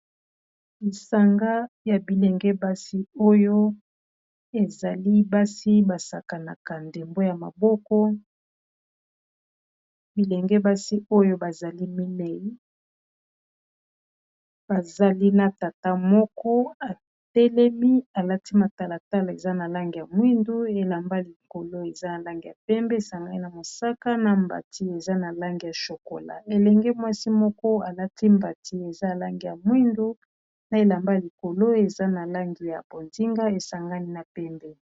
Lisanga ya bilenge basi, oyo ezali basi basakanaka ndembo ya maboko bilenge basi oyo bazali minei bazali na tata moko atelemi alati matalatala, eza na langi ya mwindu elamba likolo eza na lange ya pembe, esangani na mosaka na mbati eza na Langi ya chokola, elenge mwasi moko alati mbati eza na Langi ya mwindu na elamba likolo eza na lange ya bozinga esangani na pembe.